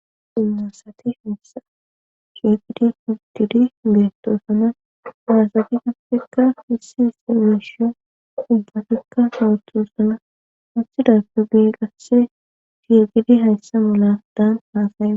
ummasati fissa kifidi futidi beetto sana waasati gupfikka hissi ise meshiyon dubbatikka sowotu sana muthida pu ginqasse fiirgidi hayssa muladaan haasaye